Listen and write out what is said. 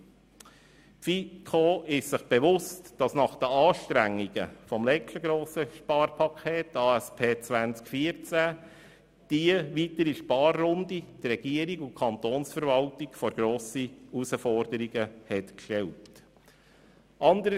Die FiKo ist sich bewusst, dass nach den Anstrengungen beim letzten grossen Sparpaket, der Angebots- und Strukturüberprüfung (ASP) 2014, Kanton und Verwaltung vor grosse Anforderungen gestellt wurden.